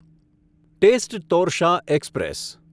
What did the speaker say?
test Torsa express